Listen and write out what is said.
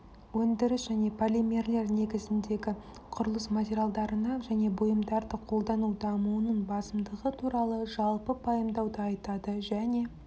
өндіріс және полимерлер негізіндегі құрылыс материалдары мен бұйымдарды қолдану дамуының басымдығы туралы жалпы пайымдауды айтады және